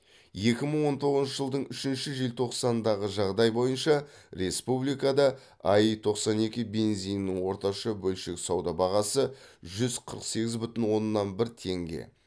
екі мың он тоғызыншы жылдың үшінші желтоқсанындағы жағдай бойынша республикада аи тоқсан екі бензинінің орташа бөлшек сауда бағасы жүз қырық сегіз бүтін оннан бір теңге